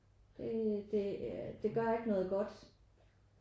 Det det gør ikke noget godt